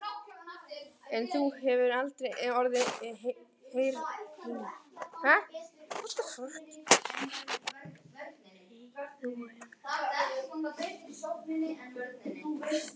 En þú hefur aldrei orðið heylaus.